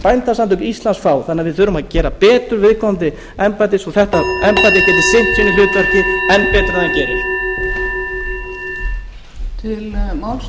bændasamtök íslands fá þannig að við þurfum að gera betur við viðkomandi embætti svo að þetta embætti geti sinnt sínu hlutverki enn betur en það gerir